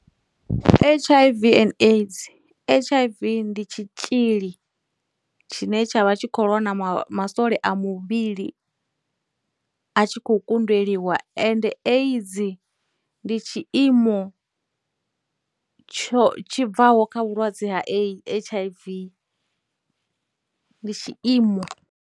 H_I_V and AIDS, H_I_V ndi tshitzhili tshine tsha vha tshi khou lwa na masole a muvhili a tshi khou kundeliwa, ende AIDS ndi tshiimo tsho tshi bvaho kha vhulwadze ha H_I_V, ndi tshiimo.